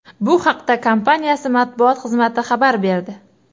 Bu haqda kompaniyasi matbuot xizmati xabar berdi .